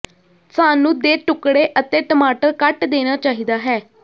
ਸਾਨੂੰ ਦੇ ਟੁਕੜੇ ਅਤੇ ਟਮਾਟਰ ਕੱਟ ਦੇਣਾ ਚਾਹੀਦਾ ਹੈ